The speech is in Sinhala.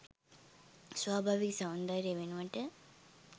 ස්වභාවික සෞන්දර්යය වෙනුවට